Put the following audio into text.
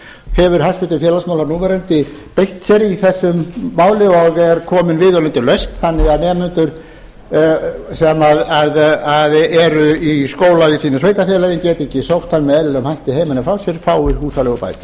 hefur hæstvirtur félagsmálaráðherra núverandi beitt sér í þessu máli og er komin viðeigandi lausn þannig að nemendur sem eru í skóla í sínu sveitarfélagi og geta ekki sótt hann með eðlilegum hætti heiman að frá sér fái húsaleigubætur